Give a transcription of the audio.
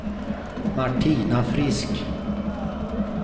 Martina Frisk